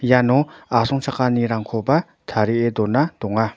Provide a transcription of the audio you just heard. iano asongchakanirangkoba tarie dona donga.